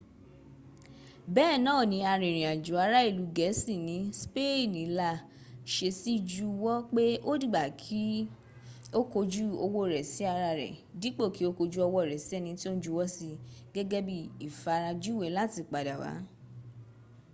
bee naa ni arinrin ajo ara ilu geesi ni speeni la sesi juwo pe odigba ki o koju owo re si ara re dipo ki o koju owo re si eni ti o n juwo si gege bi ifarajuwe lati pada wa